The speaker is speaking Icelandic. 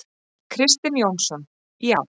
Kristinn Jónsson: Já.